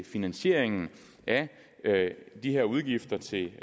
finansieringen af de her udgifter til